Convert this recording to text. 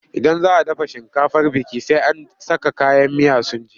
Idan za a dafa shinkafar biki, sai an saka kayan miya sun ji.